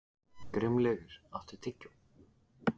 Grímlaugur, áttu tyggjó?